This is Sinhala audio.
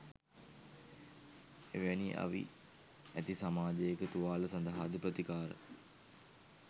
එවැනි අවි ඇති සමාජයක තුවාල සඳහාද ප්‍රතිකාර